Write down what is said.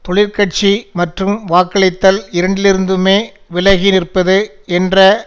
தொழிற்கட்சி மற்றும் வாக்களித்தல் இரண்டிலிருந்துமே விலகி நிற்பது என்ற